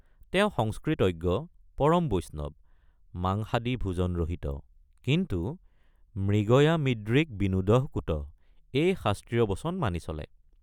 তেওঁ সংস্কৃতজ্ঞ পৰম বৈষ্ণৱ—মাংসাদি ভোজন ৰহিত কিন্তু মৃগয়ামিদৃক বিনোদঃ কুতঃ এই শাস্ত্ৰীয় বচন মানি চলে।